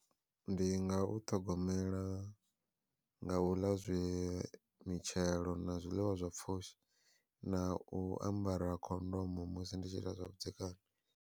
Ndi nga u ṱhogomela nga u ḽa zwi mitshelo na zwiḽiwa zwa pfhushi na u ambara khondomo musi ndi tshi ita zwavhudzekani.